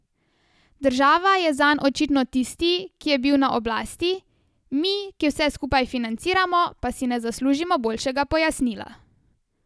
Država je zanj očitno tisti, ki je na oblasti, mi, ki vse skupaj financiramo, pa si ne zaslužimo boljšega pojasnila.